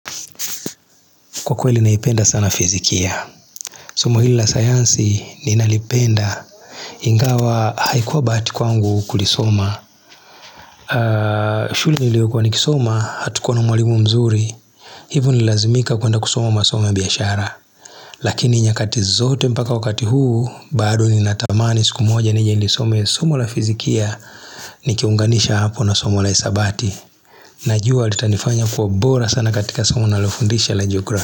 Kwa kweli naipenda sana fizikia Somo hili la sayansi ni nalipenda Ingawa haikuwa bahati kwangu kulisoma shule ni lio kwa nikisoma hatukuwa na mwalimu mzuri Hivo nililazimika kuenda kusoma masomo biashara Lakini nyakati zote mpaka wakati huu Baado ni natamani siku moja nijenilisome somo la fizikia Nikiunganisha hapo na somo la isabati Najua litanifanya kuwa bora sana katika somo na lofundisha la geography.